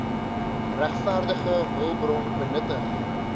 regverdige hulpbron benutting